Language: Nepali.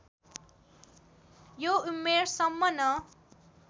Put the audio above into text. यो उमेरसम्म न